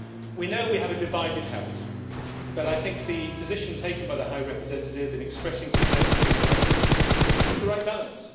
We know we have a divided house but I think the position taken by the High Representative in expressing concern for human rights is the right balance.